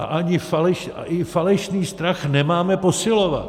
A ani falešný strach nemáme posilovat.